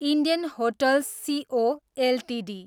Indian hotels CO Ltd